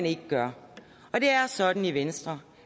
ikke gør det er sådan i venstre